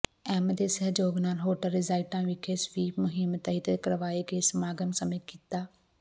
M ਦੇ ਸਹਿਯੋਗ ਨਾਲ ਹੋਟਲ ਰੀਜੈਂਟਾ ਵਿਖੇ ਸਵੀਪ ਮੁਹਿੰਮ ਤਹਿਤ ਕਰਵਾਏ ਗਏ ਸਮਾਗਮ ਸਮੇਂ ਕੀਤਾ